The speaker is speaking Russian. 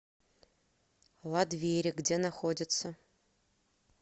ладвери где находится